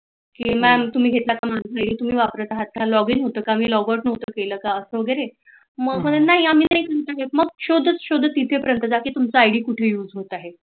कि मॅम तुम्ही घेतला तुम्ही वापरत आहात log in हुत का मी log out केल का वगेरे, नाही मी हित हुतो मग शोधत शोधत तिथ पर्यंत जा की तुमचा आईडी कुठे युज होत आहे